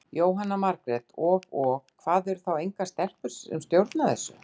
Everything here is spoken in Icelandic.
Jóhanna Margrét: Og, og hvað, eru þá engar stelpur sem stjórna þessu?